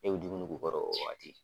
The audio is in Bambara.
Ne bɛ dumuni k'u kɔrɔ o wagati.